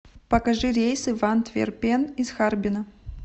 покажи рейсы в антверпен из харбина